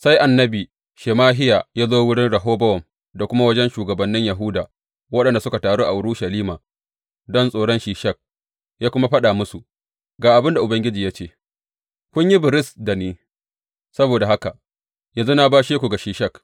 Sai annabi Shemahiya ya zo wurin Rehobowam da kuma wajen shugabannin Yahuda waɗanda suka taru a Urushalima don tsoron Shishak, ya kuma faɗa musu, Ga abin da Ubangiji ya ce, Kun yi biris da ni; saboda haka, yanzu na bashe ku ga Shishak.’